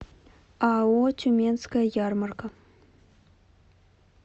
ао тюменская ярмарка